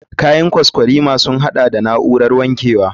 Kayan kwaskwarima sun haɗa da na'urar wankewa.